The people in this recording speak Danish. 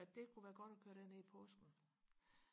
at det kunne være godt og køre derned i påsken